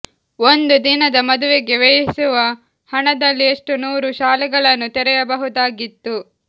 ಒಂದು ದಿನದ ಮದುವೆಗೆ ವ್ಯಯಿಸುವ ಹಣದಲ್ಲಿ ಎಷ್ಟು ನೂರು ಶಾಲೆಗಳನ್ನು ತೆರೆಯಬಹುದಾಗಿತ್ತು